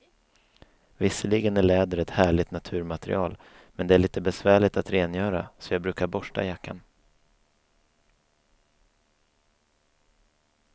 Visserligen är läder ett härligt naturmaterial, men det är lite besvärligt att rengöra, så jag brukar borsta jackan.